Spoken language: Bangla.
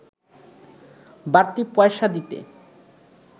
বাড়তি পয়সা দিতে